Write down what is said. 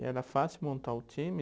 E era fácil montar o time?